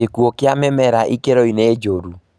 Gĩkuo kĩa mĩmera ikĩro -inĩ njũru